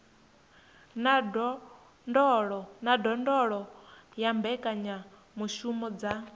na ndondolo ya mbekanyamushumo dza